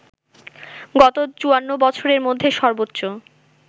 গত ৫৪ বছরের মধ্যে সর্বোচ্চ